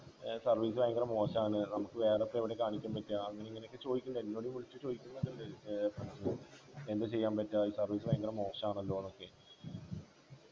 ഏർ service ഭയങ്കര മോശാണ് നമുക്ക് വേറെയൊക്കെ എവിടെയാ കാണിക്കാൻ പറ്റുക അങ്ങനിങ്ങനെ ഒക്കെ ചോയ്ക്ക്ണ്ട് എന്നോട് ഈ വിളിച്ച് ചോയ്ക്കു ഏർ എന്താ ചെയ്യാൻ പറ്റുക service ഭയങ്കര മോശണല്ലോന്നൊക്കെ